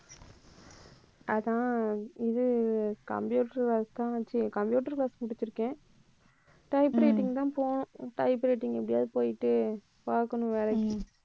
அதான் இது computer அதான் சரி computer first முடிச்சிருக்கேன் typewriting தான் போகணும் typewriting எப்படியாவது போயிட்டு பார்க்கணும் வேலைக்கு